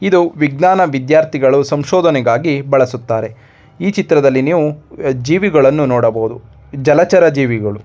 ಇದು ವಿದ್ಯಾನ್ ವಿದ್ಯಾರ್ಥಿ ಗಳು ಸಂಶೋಧನೆ ಗಾಗಿ ಬಡಸುತ್ತಾರೆ ಈ ಚಿತ್ರದಲ್ಲಿ ಜೀವಿಗಳನ್ನು ನೋಡ ಬಹುದು ಜಲ ಚರ್ ಜೀವಿಗಳು.